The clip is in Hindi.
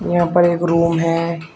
यहां पर एक रूम है।